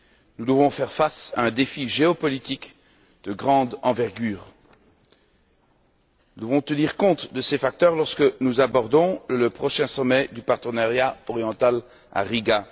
Nous devons faire face à un défi géopolitique de grande envergure. Nous devons tenir compte de ces facteurs lorsque nous abordons le prochain sommet du partenariat oriental à Riga.